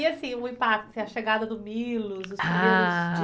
E assim, o impacto, assim a chegada do Milos, os. Ah